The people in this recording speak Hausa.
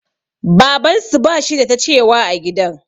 Babansu bashi da ta cewa a gidan.